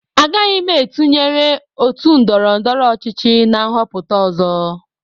Agaghị m etụnyerụ otu ndọrọ ndọrọ ọchịchị na nhọpụta ọzọ